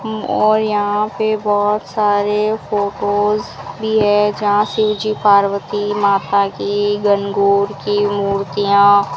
और यहां पर बहुत सारे फोटोज भी है जहां शिवजी पार्वती माता की गणगौर की मूर्तियां --